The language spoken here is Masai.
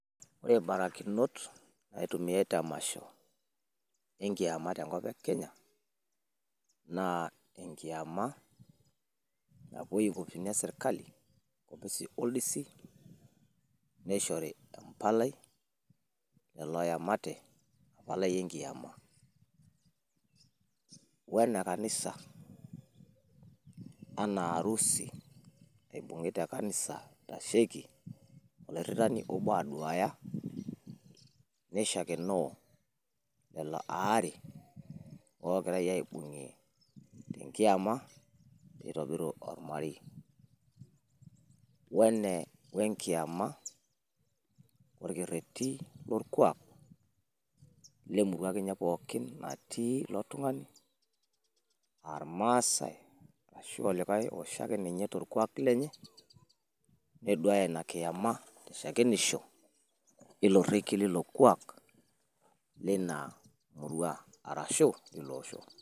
wore mbaarikinot naitumiaii te masho enkiama tenkop ekenya naa enkiama napuoii inkopisini esirkali enkopis oldlsi nishori empalai lelo oemata wempalai enkiama wenekanisa wonearusi naibung'i ekanisa itasheiki olarikoni obo aitaduaya neishakenoo lelo aare ogiraii aibungiee te kiama peitobiru wolmarei wenkiama olkereri lolkuaak lemuru akeniinye natii iloo tungani aa ilmaasai arashu olikai osho ake ninye tolkuaak lenye neduaaya kiamaa shakenisho ilo rekiee lilo kuaak lina muruaa arashu iloo osho.